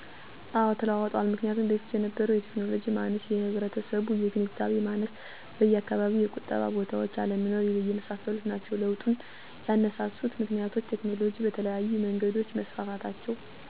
አወ ተለውጠዎል ምክንያቱም በፊት የነበረው የቴክኖሎጂ ማነስ፣ የህብረተሰቡ የግንዛቤ ማነስ፣ በየአካባቢው የቁጠባ ቦታዎች አለመኖር የመሳሰሉት ናቸው። ለውጡን ያነሳሱት ምክንያቶች፦ ቴክኖሎጅ በተለያዩ መንገዶች መስፋፋታቸው፣ ለማህበረሰቡ ስለቁጠባ አስፈላጊነቱን የቁጠባ ባለሙያዎች ግንዛቤ መፍጠራቸው፣